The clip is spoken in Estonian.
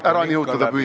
Aeg on ikka läbi.